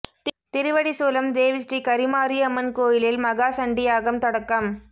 திருவடிசூலம் தேவி ஸ்ரீ கரிமாரியம்மன் கோயிலில் மகா சண்டி யாகம் தொடக்கம்